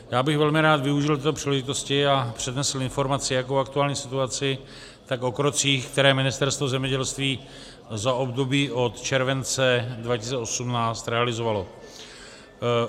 Já bych velmi rád využil této příležitosti a přednesl informaci jak o aktuální situaci, tak o krocích, které Ministerstvo zemědělství za období od července 2018 realizovalo.